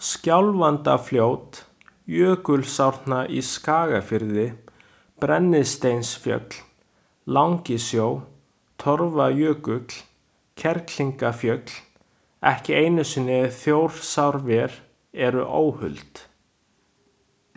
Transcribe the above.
Skjálfandafljót, Jökulsárnar í Skagafirði, Brennisteinsfjöll, Langisjór, Torfajökull, Kerlingarfjöll, ekki einu sinni Þjórsárver eru óhult.